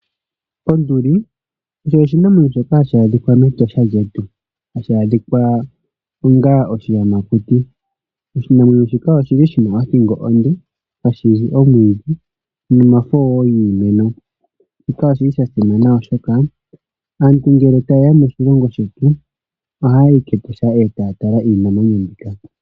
Onduli osho osho oshinamwenyo shoka hashi adhika mEtosha lyetu. Hashi adhika onga oshiyamakuti. Oshinamwenyo shika oshi li shi na othingo onde, hashi li omwiidhi nomafo wo giimeno. Shika oshi li sha simana, oshoka aantu ngele taye ya moshilongo shetu ohaya yi kEtosha e taya tala iinamwenyo mbika.